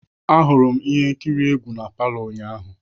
Ahụrụ m ihe nkiri egwu na palo ụnyaahụ.